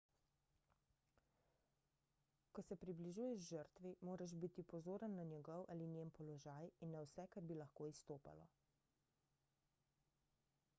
ko se približuješ žrtvi moraš biti pozoren na njegov ali njen položaj in na vse kar bi lahko izstopalo